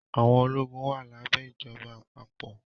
Àwọn ológun wà lábẹ́ ìjọba àpapọ̀